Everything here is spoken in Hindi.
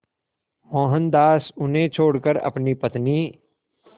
मोहनदास उन्हें छोड़कर अपनी पत्नी